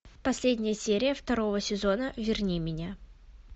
последняя серия второго сезона верни меня